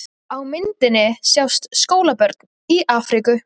Á myndinni sjást skólabörn í Afríku.